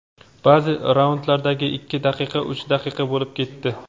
Ba’zi raundlardagi ikki daqiqa uch daqiqa bo‘lib ketdi.